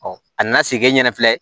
a nana se e ɲɛna filɛ